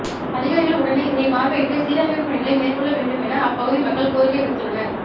அதிகாரிகள் உடனே இதனை பார்வையிட்டு சீரமைப்பு பணிகளை மேற்கொள்ள வேண்டும் என அப்பகுதி மக்கள் கோரிக்கை விடுத்துள்ளனர்